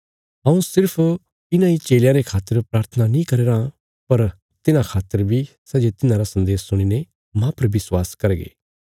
हऊँ सिर्फ इन्हां इ चेलयां रे खातर प्राथना नीं करया राँ पर तिन्हां खातर बी सै जे तिन्हांरा सन्देश सुणीने माह पर विश्वास करगे